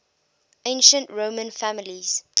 ancient roman families